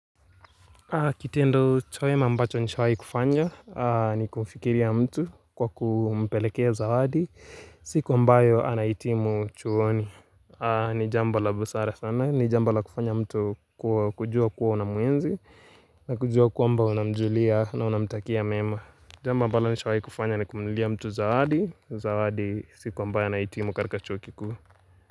Kitendo chawema ambacho nishawai kufanya ni kumfikiria mtu kwa kumpelekea zawadi siku ambayo anahitimu chuoni ni jambo la busara sana ni jambo la kufanya mtu kujua kuwa una mwenzi na kujua kuamba unamjulia na unamtakia mema Jambo ambalo nishawahi kufanya ni kumnulia mtu zawadi Zawadi siku ambayo anaihitimu katika chuo kikuu.